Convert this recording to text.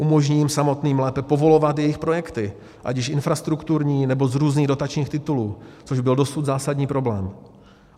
Umožní jim samotným lépe povolovat jejich projekty, ať již infrastrukturní, nebo z různých dotačních titulů, což byl dosud zásadní problém.